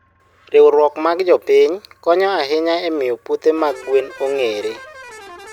Riwruok mag jopiny konyo ahinya e miyo puothe mag gwen ong'ere.